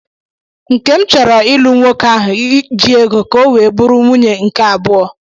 Nkem chọrọ ịlụ nwoke ahụ ji ego ka o wee bụrụ nwunye nke abụọ